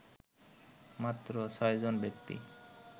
মাত্র ছয়জন ব্যক্তি